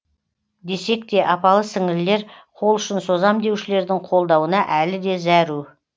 десек те апалы сіңлілер қолұшын созам деушілердің қолдауына әлі де зәру